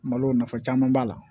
Malo nafa caman b'a la